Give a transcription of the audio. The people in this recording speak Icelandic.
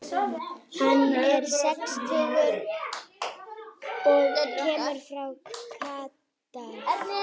Hann er sextugur og kemur frá Katar.